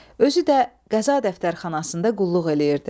Özü də qəza dəftərxanasında qulluq eləyirdi.